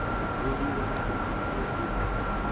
buliwa na u itiwa u